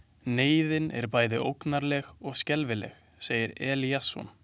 Neyðin er bæði ógnarleg og skelfileg, segir Eliasson.